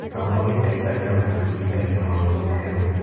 Gĩthomo gĩtũteithagia gwĩbundithagia maũndũ merũ.